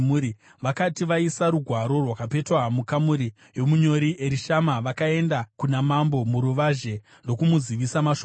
Vakati vaisa rugwaro rwakapetwa mukamuri yomunyori Erishama, vakaenda kuna mambo muruvazhe ndokumuzivisa mashoko ose.